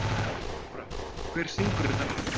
Jóra, hver syngur þetta lag?